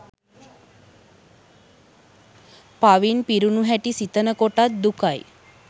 පවින් පිරුණු හැටි සිතන කොටත් දුකයි.